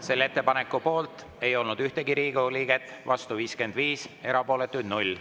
Selle ettepaneku poolt ei olnud ühtegi Riigikogu liiget, vastu oli 55, erapooletuid oli 0.